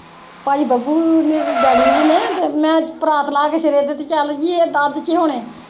ਭਾਈ ਬੱਬੂ ਨੇ ਤੇ ਨੇ, ਤੇ ਮੈਂ ਪਰਾਤ ਲਾ ਕੇ ਸਿਰੇ ਜੇ ਤੇ ਚੱਲ ਗੀ ਤੇ ਇਹ ਤਾਂ ਅੱਧ ਚ ਹੋਣੇ।